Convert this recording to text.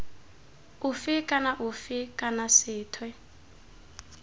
ofe kana ofe kana sethwe